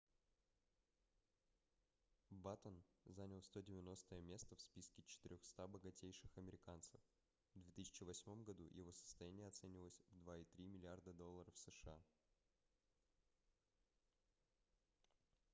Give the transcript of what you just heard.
баттен занял 190-е место в списке 400 богатейших американцев в 2008 году его состояние оценивалось в 2,3 миллиарда долларов сша